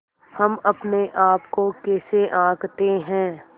हम अपने आप को कैसे आँकते हैं